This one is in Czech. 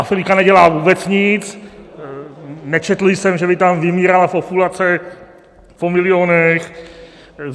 Afrika nedělá vůbec nic, nečetl jsem, že by tam vymírala populace po milionech.